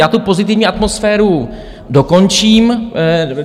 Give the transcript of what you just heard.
Já tu pozitivní atmosféru dokončím.